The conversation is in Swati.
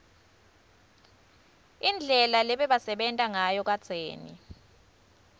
indlela lebebasebenta ngayo kadzeni